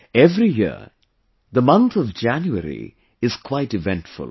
Every year, the month of January is quite eventful